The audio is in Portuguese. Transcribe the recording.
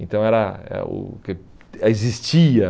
Então era eh o que existia.